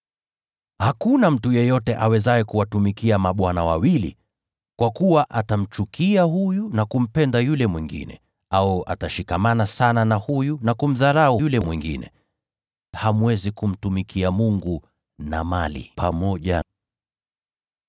“Hakuna mtu awezaye kuwatumikia mabwana wawili. Kwa kuwa atamchukia huyu na kumpenda yule mwingine, au atashikamana sana na huyu na kumdharau yule mwingine. Hamwezi kumtumikia Mungu pamoja na Mali.